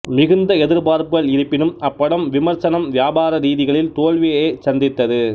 மிகுந்த எதிர்பார்ப்புகள் இருப்பினும் அப்படம் விமர்சனம் வியாபார ரீதிகளில் தோல்வியையேச் சந்தித்தது